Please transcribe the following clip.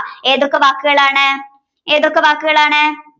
ഏതൊക്കെ വാക്കുകളാണ്ഏതൊക്കെ വാക്കുകളാണ്